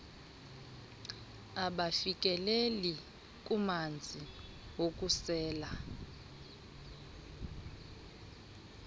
abafikeleli kumanzi wokusela